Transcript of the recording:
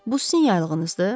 Bu sizin yaylığınızdır?